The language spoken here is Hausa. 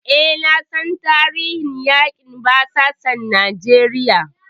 E, na san tarihin yaƙin basasan Najeriya.